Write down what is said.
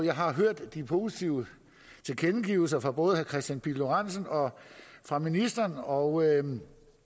har hørt de positive tilkendegivelser fra både herre kristian pihl lorentzen og fra ministeren og